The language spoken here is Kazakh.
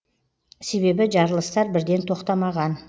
себебі жарылыстар бірден тоқтамаған